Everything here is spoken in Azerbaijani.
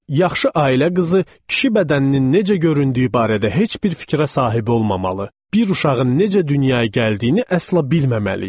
Yaxşı ailə qızı kişi bədəninin necə göründüyü barədə heç bir fikrə sahib olmamalı, bir uşağın necə dünyaya gəldiyini əsla bilməməli idi.